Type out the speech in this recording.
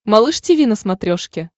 малыш тиви на смотрешке